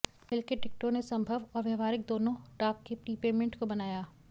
हिल के टिकटों ने संभव और व्यावहारिक दोनों डाक के प्रीपेमेंट को बनाया